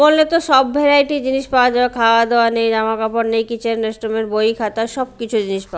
মল -এ তো সব ভ্যারাইটি জিনিস পাওয়া যায় খাওয়া-দাওয়া নিয়ে জামা কাপড় নিয়ে কিচেন রেস্টরুম -এর বই খাতা সবকিছু জিনিস পাওয়া--